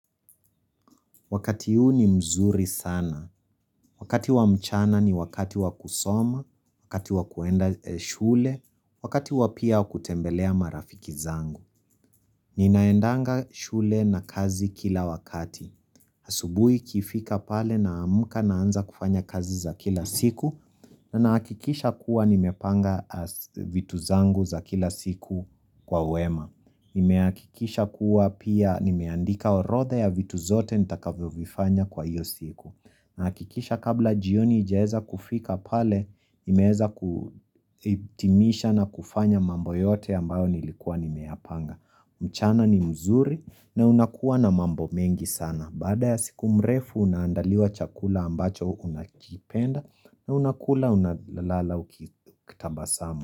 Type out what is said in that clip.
Wakati huu ni mzuri sana. Wakati wa mchana ni wakati wa kusoma, wakati wa kuenda shule, wakati wa pia wa kutembelea marafiki zangu. Ninaendanga shule na kazi kila wakati. Asubuhi ikifika pale naamka naanza kufanya kazi za kila siku na nakikisha kuwa nimepanga vitu zangu za kila siku kwa wema. Nime akikisha kuwa pia nimeandika orotha ya vitu zote nitakavyo vifanya kwa hiyo siku nahakikisha kabla jioni ijaeza kufika pale Nimeeza kutimisha na kufanya mambo yote ambayo nilikuwa nimeyapanga mchana ni mzuri na unakuwa na mambo mengi sana Baada ya siku mrefu unandaliwa chakula ambacho unakipenda na unakula unalala ukitabasamu.